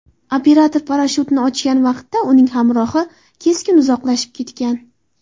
Operator parashyutini ochgan vaqtda, uning hamrohi keskin uzoqlashib ketgan.